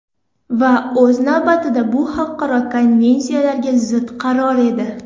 Va o‘z navbatida bu xalqaro konvensiyalarga zid qaror edi.